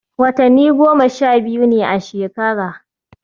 Watanni goma-sha-biyu ne a shekara